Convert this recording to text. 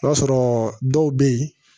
O y'a sɔrɔ dɔw bɛ yen